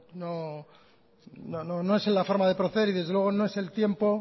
no es la forma de proceder y desde luego no es el tiempo